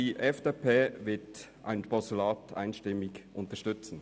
Die FDP wird ein Postulat einstimmig unterstützen.